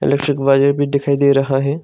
भी दिखाई दे रहा है।